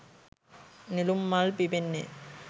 නෙළුම් මල් පිපෙන්නේ.